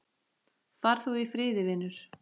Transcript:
Far þú í friði, vinur.